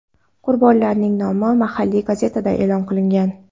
Qurbonlarning nomi mahalliy gazetada e’lon qilingan.